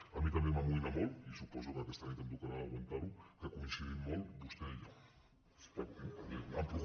a mi també m’amoïna molt i suposo que aquesta nit em tocarà aguantar ho que coincidim molt vostè i jo